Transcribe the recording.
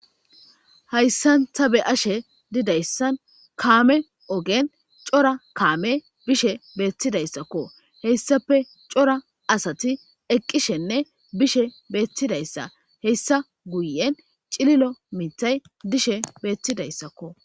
hayssanta be'ashe didayssan kaame ogen cora kaame bishe beettidayssakko heyssape cora asati eqqishenne bishe beettidayssa heyssa guyen cililo mitay dishe beettidayssakko